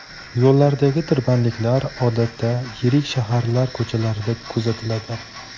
Yo‘llardagi tirbandliklar odatda yirik shaharlar ko‘chalarida kuzatiladi.